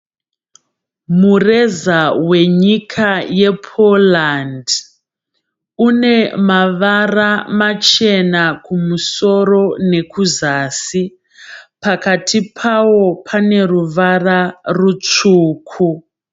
Mureza wenyika ye poland. Unemavara machena kumusoro ne kuzasi. Pakati pawo paneruvara rusvuku.